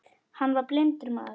Hann var blindur maður.